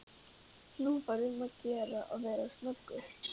Nú var um að gera að vera snöggur.